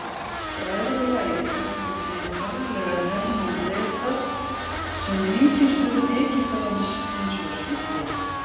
Bræðralagið gagnrýndi harðlega hernám Breta sem ríkisstjórn Egyptalands hins vegar studdi.